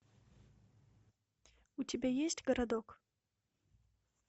у тебя есть городок